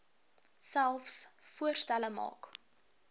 selfs voorstelle maak